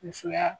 Musoya